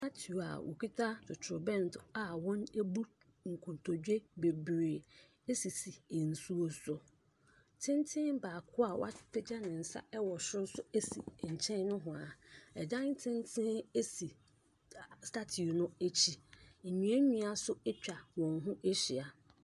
Statiu a ɔ ɔkita totrobɛnto a wɔn abu nkotodwe bebree esisi nsuo so. Tenten baako a wapagya ne nsa ɛwɔ soro so esi nkyɛn nohwaa, Ɛdan tenten esi statiu no akyi. nnua nnua ɛso atwa wɔn ho ahyia.